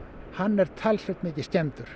hann er talsvert mikið skemmdur